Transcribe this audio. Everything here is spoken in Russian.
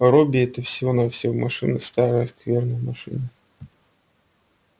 робби это всего-навсего машина старая скверная машина